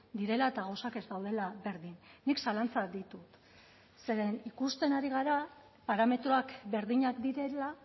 direla eta gauzak ez daudela berdin nik zalantzak ditut zeren ikusten ari gara parametroak berdinak direla